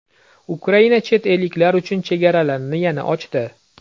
Ukraina chet elliklar uchun chegaralarini yana ochdi.